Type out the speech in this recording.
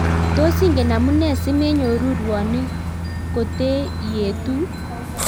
Tos ingen amune simenyoruu rwonik kotee ietuu?